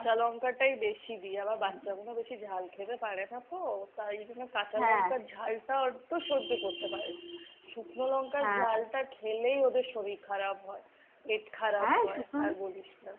কাঁচা লঙ্কাটাই বেশি দি। আবার বাচ্চাগুলো বেশি ঝাল খেতে পারে না তো। তাই জন্য কাঁচালঙ্কার ঝালটা অল্প সহ্য করতে পারে। শুকনো লঙ্কার ঝালটা খেলেই ওদের শরীর খারাপ হয়। পেট খারাপ হয়, আর বলিস না।